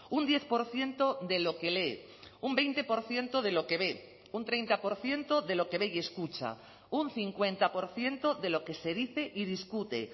un diez por ciento de lo que lee un veinte por ciento de lo que ve un treinta por ciento de lo que ve y escucha un cincuenta por ciento de lo que se dice y discute